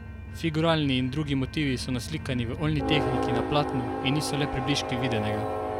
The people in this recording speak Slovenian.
Figuralni in drugi motivi so naslikani v oljni tehniki na platnu in niso le približki videnega.